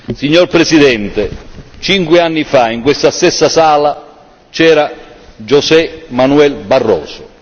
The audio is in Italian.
Signor Presidente, cinque anni fa in questa stessa sala c'era José Manuel Barroso.